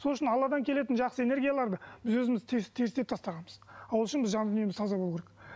сол үшін алладан келетін жақсы энергияларды біз өзіміз тастағанбыз ал ол үшін біз жан дүниеміз таза болу керек